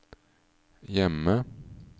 hjemme